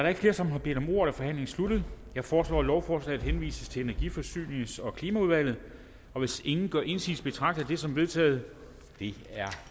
er flere som har bedt om ordet er forhandlingen sluttet jeg foreslår at lovforslaget henvises til energi forsynings og klimaudvalget og hvis ingen gør indsigelse betragter jeg det som vedtaget